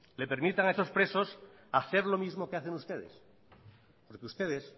le permitan a esos presos a hacer lo mismo que hacen ustedes porque ustedes